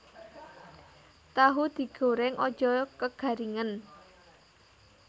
Tahu digoreng aja kegaringen